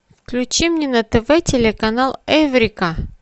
включи мне на тв телеканал эврика